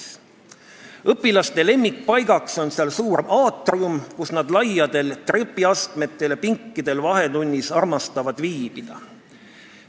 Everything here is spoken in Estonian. Seal on õpilaste lemmikpaigaks suur aatrium, kus nad armastavad vahetunni ajal viibida laiadel trepiastmetel ja pinkidel.